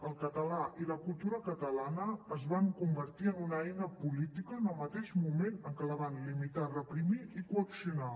el català i la cultura catalana es van convertir en una eina política en el mateix moment en què la van limitar reprimir i coaccionar